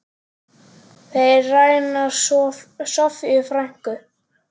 Þeir ræna Soffíu frænku.